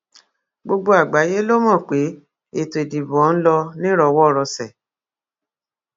gbogbo àgbáyé ló mọ pé ètò ìdìbò ọhún ló nírọwọ rọsẹ